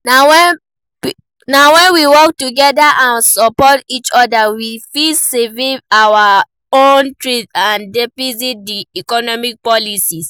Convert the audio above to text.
Na when we work together and support each oda, we fit survive and even thrive despite di economic policies.